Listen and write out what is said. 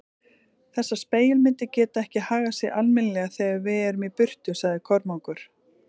Þessar spegilmyndir geta ekki hagað sér almennilega þegar við erum í burtu, sagði Kormákur.